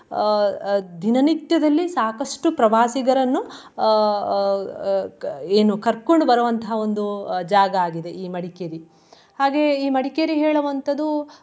ಅಹ್ ಅಹ್ ದಿನನಿತ್ಯದಲ್ಲಿ ಸಾಕಷ್ಟು ಪ್ರವಾಸಿಗರನ್ನು ಅಹ್ ಅಹ್ ಅಹ್ ಅಹ್ ಏನು ಕರ್ಕೊಂಡ್ ಬರುವಂತ ಒಂದು ಅಹ್ ಜಾಗ ಆಗಿದೆ ಈ ಮಡಿಕೇರಿ. ಹಾಗೆ ಈ ಮಡಿಕೇರಿ ಹೇಳುವಂತದು.